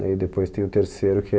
Daí depois tem o terceiro, que é...